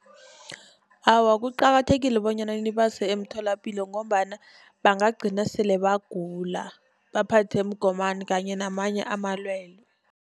Awa kuqakathekile bonyana nibase emtholapilo, ngombana bangagcina sele bagula, baphathwe mgomani kanye namanye amalwelwe.